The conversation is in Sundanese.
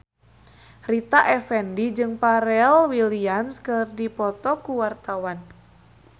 Rita Effendy jeung Pharrell Williams keur dipoto ku wartawan